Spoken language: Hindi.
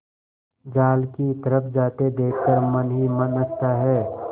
जाल की तरफ जाते देख कर मन ही मन हँसता है